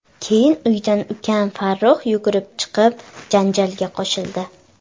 Keyin uydan ukam Farruh yugurib chiqib, janjalga qo‘shildi.